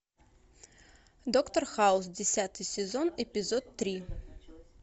доктор хаус десятый сезон эпизод три